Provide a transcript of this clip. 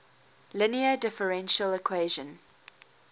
linear differential equation